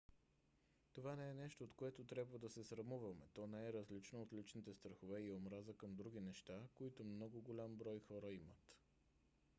това не е нещо от което трябва да се срамуваме: то не е различно от личните страхове и омраза към други неща които много голям брой хора имат